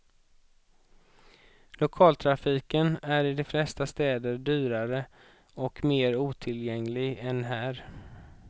Lokaltrafiken är i de flesta städer dyrare och mer otillgänglig än här.